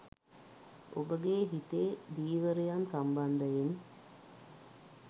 ඔබගේ හිතේ ධීවරයන් සම්බන්ධයෙන්